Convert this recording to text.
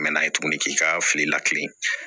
Mɛ n'a ye tuguni k'i ka fili lakilen